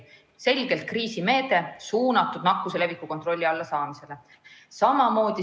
selgelt kriisimeede, suunatud nakkuse leviku kontrolli alla saamisele.